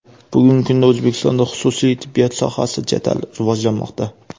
Bugungi kunda O‘zbekistonda xususiy tibbiyot sohasi jadal rivojlanmoqda.